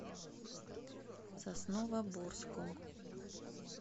сосновоборском